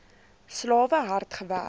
slawe hard gewerk